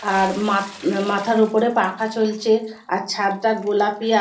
আর মাত মাথার ওপরে পাখা চলছে আর ছাদটা গোলাপি আর--